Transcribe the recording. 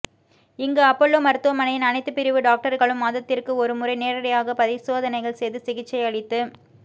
இங்கு அப்பல்லோ மருத்துவமனையின் அனைத்து பிரிவு டாக்டர்களும் மாதத்திற்கு ஒருமுறை நேரடியாக பரிசோதனைகள் செய்து சிகிச்சை அளித்து